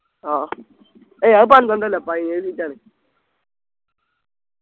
ആഹ് എയ് അത് പന്ത്രണ്ടല്ല പതിനേഴ് seat ആണ്